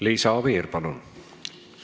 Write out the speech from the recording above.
Liisa Oviir, palun!